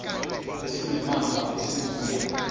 ezinesimamva esingu ya